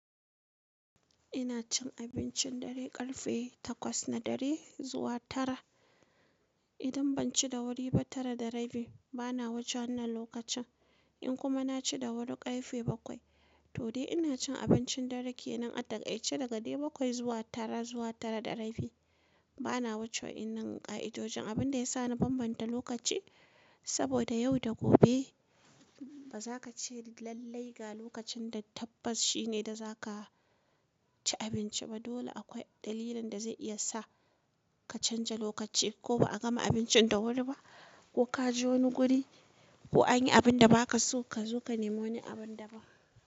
Ina cin abincin dare ƙarfe takwas na dare zuwa tara. Idan ban ci da wuri ba tara da rabi bana wuce wannan lokacin. In kuma na ci da wuri ƙarfe bakwai, to dai ina cin abincin dare kenan a takaice daga dai bakwai zuwa tara zuwa tara da rabi. Bana wuce wannan ƙa'idojin, abin da ya sa na bambanta lokaci. Saboda yau da gobe ba za ka ce lallai ga lokacin da tabbas shine da za ka ci abinci ba. Dole akwai dalilin da zai iya sa ka canja lokaci ko ba a gama abincin da wuri ba ko ka je wani guri ko anyi abin da ba ka so ka zo ka nemo wani abin da ban.